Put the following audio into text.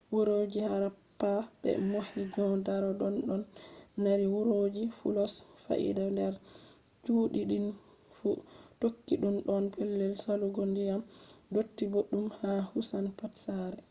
wuroji harappa be mohenjo-daro ɗonno mari hurgoji fulos faida nder chudi din fu tokkiɗun do pellel salugo ndiyam dotti boɗɗum ha kusan pat sare